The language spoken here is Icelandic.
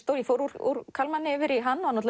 ég fór úr Kalmanni yfir í hann